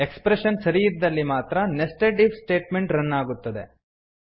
expression ಸರಿಯಿದ್ದಲ್ಲಿ ಮಾತ್ರ nested if statement run ಆಗುತ್ತದೆ